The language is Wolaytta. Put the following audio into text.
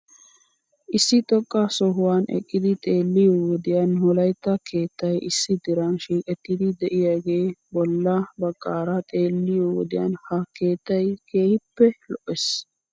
Issi xoqqa sohuwan eqqidi xeelliyoo wodiyan wolaytta keettay issi diran shiiqettidi de'iyaagee bolla bagaara xeelliyoo wodiyan he keettay keehippe lo'es.